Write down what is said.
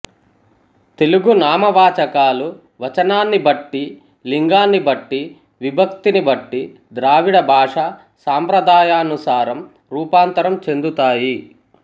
తెలుగు నామవాచకాలు వచనాన్ని బట్టీ లింగాన్ని బట్టీ విభక్తిని బట్టీ ద్రావిడ భాషా సంప్రదాయానుసారం రూపాంతరం చెందుతాయి